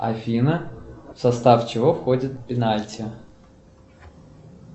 афина в состав чего входит пенальти